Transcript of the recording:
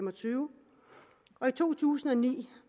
og tyve og i to tusind og ni